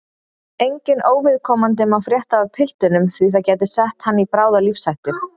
Enginn óviðkomandi má frétta af piltinum því að það gæti sett hann í bráða lífshættu